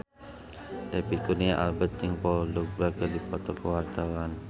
David Kurnia Albert jeung Paul Dogba keur dipoto ku wartawan